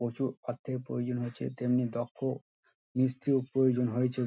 প্রচুর অর্থের প্রয়োজন হয়েছে তেমনি দক্ষ মিস্ত্রিও প্রয়োজন হয়েছে।